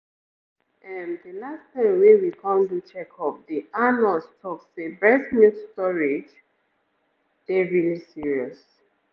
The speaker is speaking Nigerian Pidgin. ehm the last time wey we come do checkup the ahhh nurse talk say breast milk storage dey really serious.